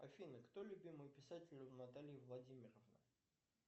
афина кто любимый писатель у натальи владимировны